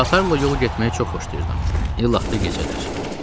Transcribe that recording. Qatarla yol getməyi çox xoşlayırdım, illa da gecələr.